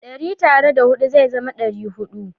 Dari tare da hudu ze zama ɗari-hudu